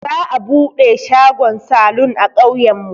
Za'a buɗe shagon salun a ƙauyen mu.